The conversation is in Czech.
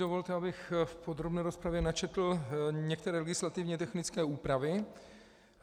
Dovolte, abych v podrobné rozpravě načetl některé legislativně technické úpravy.